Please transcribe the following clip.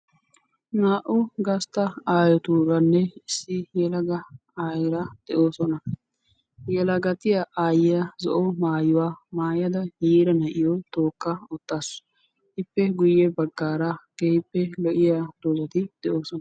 naa'u gasta aayotuuranne issi yelaga aayeera de'oosona. yelagattiya aayiya issi qiiba na'iyo tookada gaxa bagaara de'awusu.